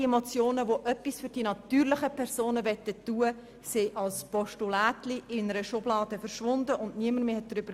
Alle Motionen, die etwas für die natürlichen Personen tun wollten, verschwanden als «Postulätchen» in einer Schublade, und niemand sprach mehr darüber.